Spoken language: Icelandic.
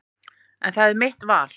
En það er mitt val.